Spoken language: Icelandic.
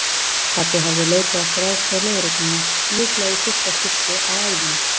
Pabbi hafði leitað eftir aðstoð lögreglunnar, líklega í fyrsta skipti á ævinni.